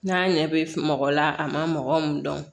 N'a ɲɛ bɛ mɔgɔ la a ma mɔgɔ min dɔn